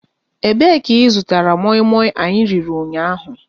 E be ka ị zụtara moi moi anyị riri ụnyaahụ?